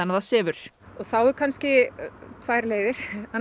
það sefur það eru tvær leiðir